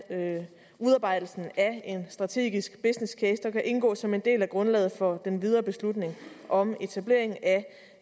udarbejdelsen af en strategisk business case der kan indgå som en del af grundlaget for den videre beslutning om etableringen af